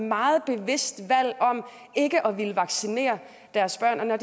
meget bevidst valg om ikke at ville vaccinere deres børn når